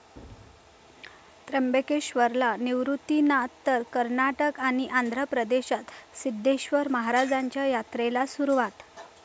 त्र्यंबकेश्वरला निवृतीनाथ तर कर्नाटक आणि आंध्र प्रदेशात सिद्धेश्वर महाराजांच्या यात्रेला सुरुवात